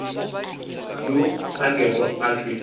yo a kego a tšwe